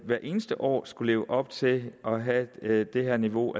hvert eneste år skal leve op til at have det her niveau